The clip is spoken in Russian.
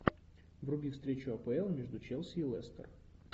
вруби встречу апл между челси и лестер